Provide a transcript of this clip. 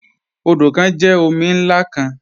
Odo kan jẹ omi nlá kan.